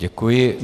Děkuji.